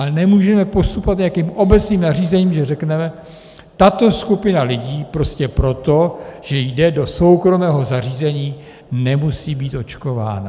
Ale nemůžeme postupovat nějakým obecným nařízením, že řekneme, tato skupina lidí prostě proto, že jde do soukromého zařízení, nemusí být očkována.